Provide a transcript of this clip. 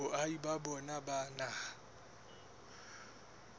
boahi ba bona ba naha